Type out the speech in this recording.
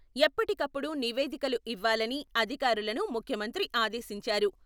ఎప్పటికప్పుడు నివేదికలు ఇవ్వాలని అధికారులను ముఖ్యమంత్రి ఆదేశించారు.